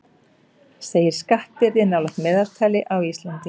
Segir skattbyrði nálægt meðaltali á Íslandi